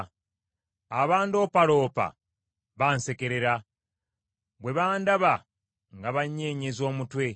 Abandoopaloopa bansekerera; bwe bandaba nga banyeenyeza omutwe.